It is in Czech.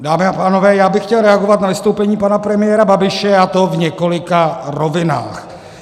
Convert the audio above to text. Dámy a pánové, já bych chtěl reagovat na vystoupení pana premiéra Babiše, a to v několika rovinách.